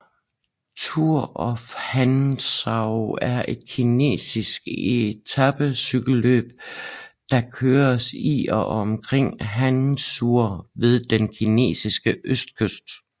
Tour of Hangzhou er et kinesiske etapecykelløb der køres i og omkring Hangzhou ved den kinesiske østkyst